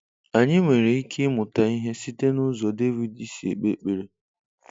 Anyị nwere ike ịmụta ihe site n'ụzọ David si ekpe ekpere.